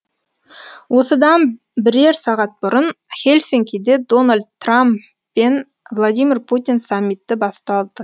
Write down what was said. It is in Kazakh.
осыдан бірер сағат бұрын хельсинкиде дональд трам пен владимир путин саммиті басталды